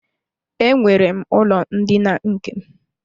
Enwere m ụlọ ndina nke m.